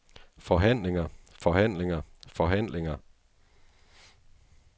forhandlinger forhandlinger forhandlinger